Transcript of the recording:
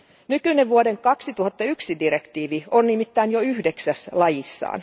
Nykyinen vuoden 2001 direktiivi on nimittäin jo yhdeksäs lajissaan.